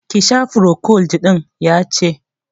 Ki sha procold ɗin'! Ya ce